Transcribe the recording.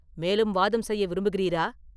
மேலும் வாதம் செய்ய விரும்புகிறீரா?